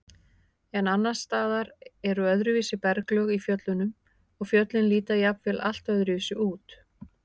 En annars staðar eru öðruvísi berglög í fjöllunum og fjöllin líta jafnvel allt öðruvísi út.